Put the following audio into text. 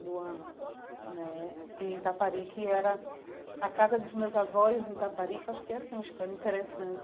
Do ano né e em Itaparica e era a casa dos meus avós em Itaparica, acho que essa é uma história interessante.